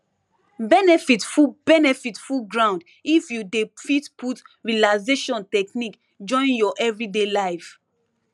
benefit full benefit full ground if you dey fit put relaxation technique join your everyday life